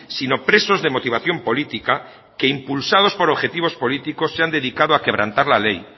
sino presos de motivación política que impulsados por objetivos políticos se han dedicado a quebrantar la ley